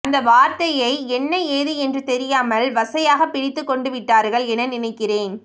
அந்த வார்த்தையை என்ன ஏது என்று தெரியாமல் வசையாக பிடித்துக்கொண்டுவிட்டார்கள் என நினைக்கிறேன்